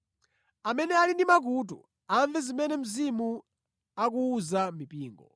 Amene ali ndi makutu, amve zimene Mzimu akuwuza mipingo.